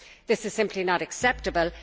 This is simply not acceptable.